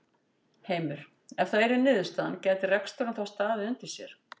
Heimir: Ef það yrði niðurstaðan gæti reksturinn þá staðið undir sér?